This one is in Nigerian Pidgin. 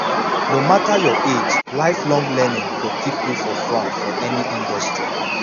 no matter your age lifelong learning go keep you for front for any industry